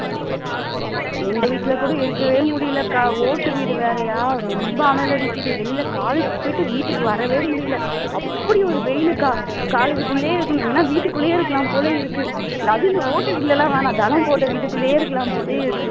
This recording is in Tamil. எங்க வீட்ல கூட இருக்கவே முடியல அக்கா ஓட்டு வீடு வேறயா ரொம்ப அனல் அடிக்குது வெளியில college க்கு போயிட்டு வீட்டுக்கு வரவே முடியல அப்படி ஒரு வெயிலுக்கா college குள்ளயே இருக்கணும் ஏன்னா வீட்டுக்குள்ளேயே இருக்கலாம் போல இருக்கு இந்த அதுவும் இந்த ஓட்டு வீட்ல வேண்டாம் வேண்டாம் ஜன்னல் போட்ட வீட்டுக்குள்ளேயே இருக்கலாம் போல இருக்கு